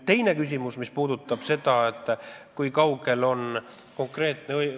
Teine küsimus puudutab seda, kui kaugel me konkreetselt oleme.